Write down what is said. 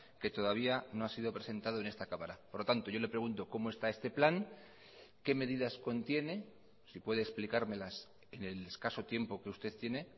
que todavía no ha sido presentado en esta cámara por lo tanto yo le pregunto cómo está este plan qué medidas contiene si puede explicármelas en el escaso tiempo que usted tiene